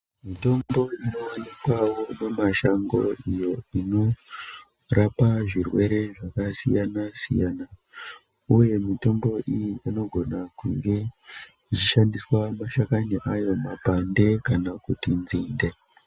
Mitombo inovanikavo mumashango iyo inorapa zvirwere zvakasiyana-siyana, uye mitombo iyi anogone kunge kuchishandiswa mashakani ayo mapande kana kuti nzinde.